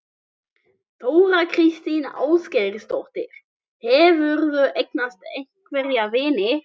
Þóra kristín Ásgeirsdóttir: Hefurðu eignast einhverja vini?